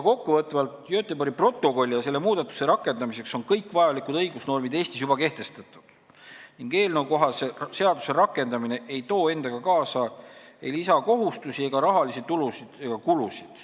Kokkuvõtvalt: Göteborgi protokolli ja selle muudatuste rakendamiseks on Eestis juba kõik vajalikud õigusnormid kehtestatud ning eelnõukohase seaduse rakendamine ei too endaga kaasa ei lisakohustusi ega rahalisi tulusid ega kulusid.